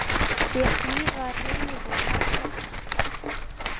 Sé blíða er hlegið og ærslast.